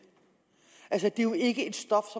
er jo ikke et stof